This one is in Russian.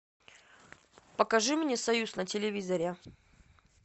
покажи мне союз на телевизоре